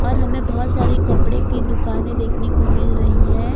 और हमे बहोत सारे कपड़े की दुकाने देखने को मिल रही है।